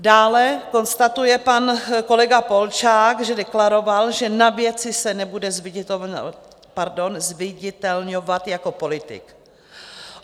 Dále konstatuje pan kolega Polčák, že deklaroval, že na věci se nebude zviditelňovat jako politik.